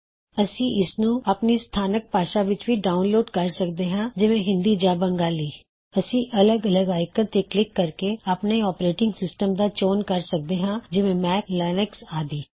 ਇਥੇ ਅਸੀਂ ਇਸਨੂੰ ਆਪਣੀ ਸਥਾਨਕ ਭਾਸ਼ਾ ਵਿੱਚ ਵੀ ਡਾਉਨਲੋਡ ਕਰ ਸਕਦੇ ਹਾ ਜਿਵੇ ਹਿੰਦੀ ਜਾਂ ਬੰਗਾਲੀ ਅਸੀਂ ਅਲੱਗ ਅਲੱਗ ਆਇਕਨ ਤੇ ਕਲਿੱਕ ਕਰ ਕੇ ਆਪਣੇ ਓਪੇਰੇਟਿੰਗ ਸਿਸਟਮ ਦਾ ਚੋਣ ਕਰ ਸਕਦੇ ਹਾਂ ਜਿਵੇਂ ਮੈਕ ਲਿਨਕਸ ਆਦੀ